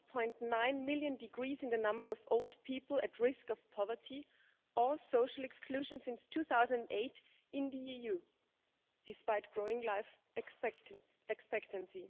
1.9 million decrease in the number of old people at risk of poverty or social exclusion since 2008 in the EU, despite growing life expectancy.